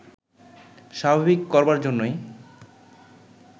স্বাভাবিক করবার জন্যই